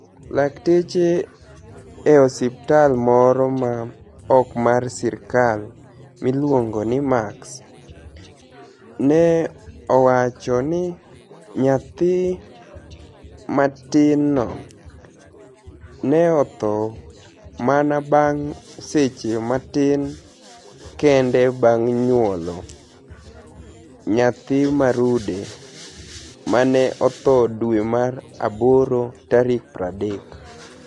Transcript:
Lakteche e osiptal moro ma ok mar sirkal miluonigo nii Max, ni e owacho nii niyathi matinino ni e otho mania banig ' seche matini kenide banig ' niyuolo niyathi ma rude ma ni e otho dwe mar aboro 30.